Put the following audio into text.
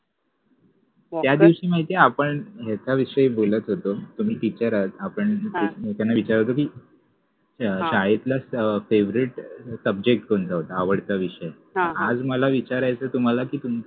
त्यादिवशि माहिति आहे आपण एकाविषयि बोलत होतो तुम्हि टिचर आहात आपन लोकाना विचारतो कि शाळेतला फेवरेट सबजेक्ट कोणता होता? आवडता विषय. आज मला विचारायच आहे कि तुम्हाला